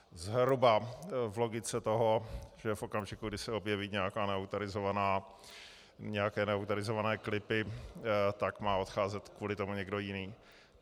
Zhruba v logice toho, že v okamžiku, kdy se objeví nějaké neautorizované klipy, tak má odcházet kvůli tomu někdo jiný.